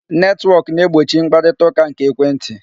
Netwọk na-egbochi mkparitaụka nke ekwentị.